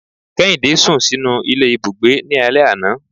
Kèhindé sún sinú ilé Ibúgbe ní alè aná